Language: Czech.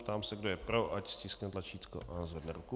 Ptám se, kdo je pro, ať stiskne tlačítko a zvedne ruku.